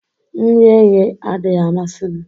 Nri eghe adịghị amasị m